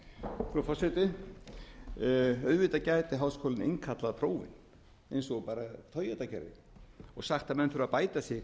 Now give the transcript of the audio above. frú forseti auðvitað gæti háskólinn innkallað prófin eins og bara toyota gerði og sagt að menn þurfi að bæta sig